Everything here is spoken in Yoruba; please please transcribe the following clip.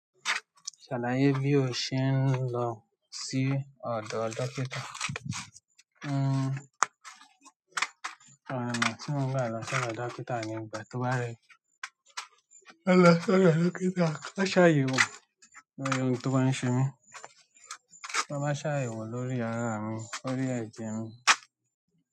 Ṣàlàyé bí o ṣe ń lọ sí ọ̀dọ̀ dókítà. N n lọ, tí mo ń gbà lọ sí ọ̀dọ̀ dókítà ní ìgbà tó bá rẹ̀ mí. Máa lọ sí ọ̀dọ̀ dókítà. Máa ṣàyèwò ohun tó bá ń ṣe mí. Wọ́n máa ṣàyèwò lórí ara mi, lórí ẹ̀jẹ̀ mi.